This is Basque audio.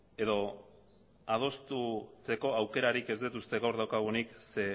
edo adosteko aukerarik ez dut uste gaur daukagunik ze